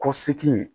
Ko seki